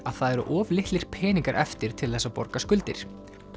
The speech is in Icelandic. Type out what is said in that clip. að það eru of litlir peningar eftir til þess að borga skuldir